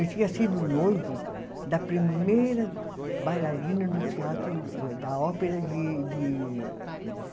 Ele tinha sido noivo da primeira bailarina do teatro, eh da ópera de de. Paris.